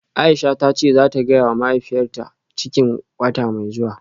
Aisha tace zata gayawa mahaifiyarta cikin wata mai zuwa.